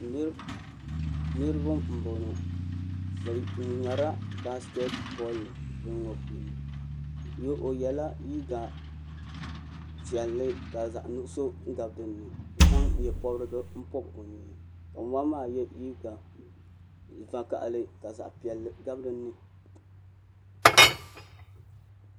Niribɛ n bɔŋɔ bɛ ŋmɛrila baasikɛti bolli bini ŋɔ puuni o yɛla liiga piɛli ka zaɣ' nuɣso gabi din ni ka zan nyɛ pobirigu o nyee ka ŋun bala maa yɛ liiga piɛli ka zaɣ' vakahali gabi dini